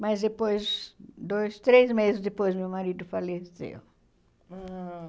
Mas depois, dois, três meses depois, meu marido faleceu. Ah